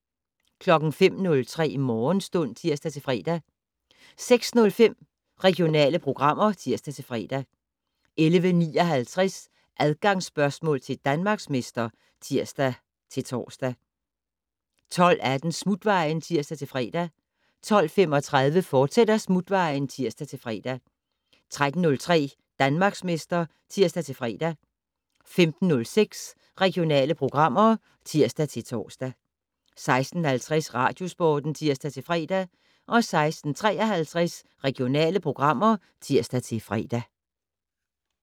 05:03: Morgenstund (tir-fre) 06:05: Regionale programmer (tir-fre) 11:59: Adgangsspørgsmål til Danmarksmester (tir-tor) 12:18: Smutvejen (tir-fre) 12:35: Smutvejen, fortsat (tir-fre) 13:03: Danmarksmester (tir-fre) 15:06: Regionale programmer (tir-tor) 16:50: Radiosporten (tir-fre) 16:53: Regionale programmer (tir-fre)